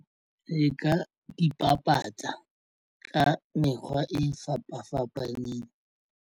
Re ka ipapatsa ka mekgwa e fapafapaneng.